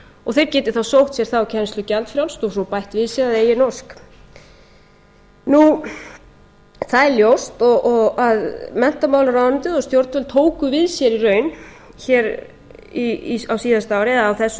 og þeir geti þá sótt sér þá kennslu gjaldfrjálst og svo bætt við sig að eigin ósk það er ljóst að menntamálaráðuneytið og stjórnvöld tóku við sér í raun á síðasta ári eða á þessu